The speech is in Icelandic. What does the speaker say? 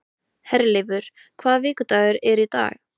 Herleifur, hvaða vikudagur er í dag?